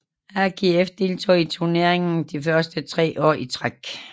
AGF deltog i turneringen de første tre år i træk